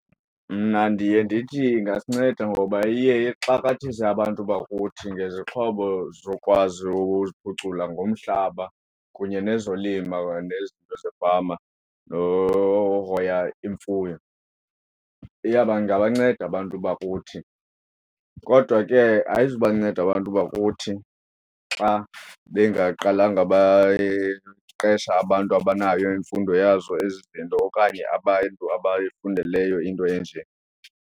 Mna ndiye ndithi ingasinceda ngoba iye ixakathise abantu bakuthi ngezixhobo zokwazi ukuziphucula ngomhlaba kunye nezolima, nezinto zefama nokuhoya imfuyo. Iyawuba ingabanceda abantu bakuthi kodwa ke ayizuba nceda abantu bakuthi xa bengaqalanga bayiqesha abantu abanayo imfundo yazo ezi zinto okanye abantu abayifundeleyo into enje.